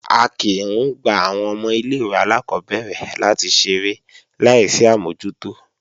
A kìí ń gba àwọn ọmọ ilé-ìwé alákọ́bẹ̀rẹ̀ láti ṣeré láì sí àmójútó